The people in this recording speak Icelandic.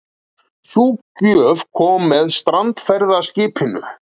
Sú gjöf kom með strandferðaskipinu.